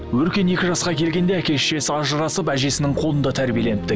өркен екі жасқа келгенде әке шешесі ажырасып әжесінің қолында тәрбиеленіпті